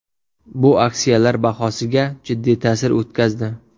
Bu aksiyalar bahosiga jiddiy ta’sir o‘tkazdi.